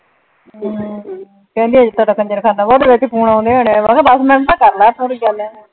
ਹਮ ਕਹਿੰਦੀ ਅਜੇ ਤੇਰਾ ਕੰਜਰਖ਼ਾਨਾ, ਉਹਦੇ ਵਿਚ ਫ਼ੋਨ ਆਉਂਦੇ ਹੋਣੇ ਆ। ਮੈਂ ਕਿਹਾ ਦਸ ਮਿੰਟ ਤਾਂ ਕਰ ਲਏ। ਇਹ ਚ ਕਿਹੜੀ ਗੱਲ ਏ।